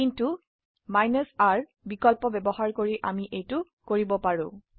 কিন্তু R বিকল্প ব্যবহাৰ কৰি আমি এইটো কৰিব পাৰো